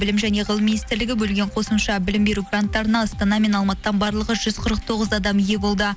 білім және ғылым министрлігі бөлінген қосымша білім беру гранттарына астана мен алматыдан барлығы жүз қырық тоғыз адам ие болды